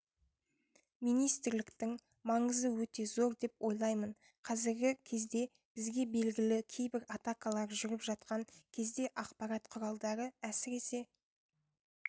министрліктің маңызы өте зор деп ойлаймын қазіргі кездебізге белгісіз кейбір атакалар жүріп жатқан кездеақпарат құралдары әсіресе